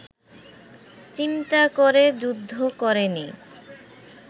চিন্তা করে যুদ্ধ করেনি